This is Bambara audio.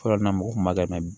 Fɔlɔ na mɔgɔ kun ma gɛrɛ